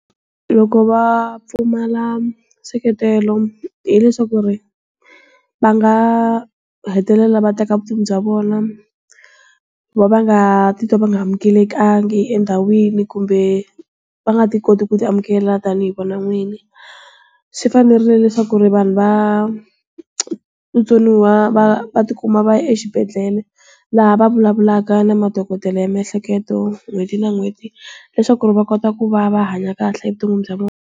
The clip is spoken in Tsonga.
Loko va pfumala nseketelo, hileswaku ri, va nga hetelela va teka vutomi bya vona. Ku va va nga ti twa va nga amukelekangi endhawini kumbe, va nga ti koti ku ti amukela tanihi vona n'winyi. Swi fanerile leswaku ri vanhu va, vutsoniwa va va ti kuma va ya exibedhlele, laha va vulavulaka na madokodela ya miehleketo n'hweti na n'hweti, leswaku ri va kota ku va va hanya kahle evuton'wini bya vona.